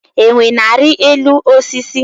Enwe na-arị elu osisi.